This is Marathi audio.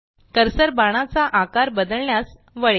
कर्सर बाणाचा आकार बदलण्यास वळेल